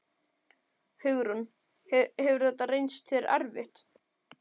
Hugrún: Hefur þetta reynst þér erfitt?